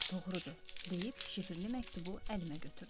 Doğrudur, deyib şifrli məktubu əlimə götürdüm.